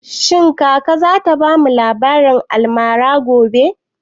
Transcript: Shin kaka za ta bamu labarin almara gobe?